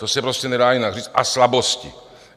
To se prostě nedá jinak říct, a slabosti.